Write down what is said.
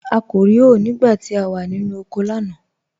À kò rí hòé nígbà tí à wà nínu oko lánà.